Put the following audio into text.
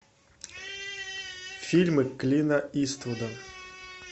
фильмы клина иствуда